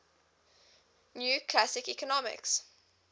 new classical economics